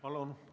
Palun!